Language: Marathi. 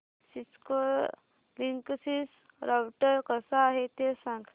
सिस्को लिंकसिस राउटर कसा आहे ते सांग